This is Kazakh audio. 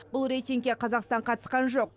бұл рейтингке қазақстан қатысқан жоқ